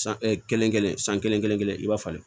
San kelen kelen san kelen kelen i b'a falen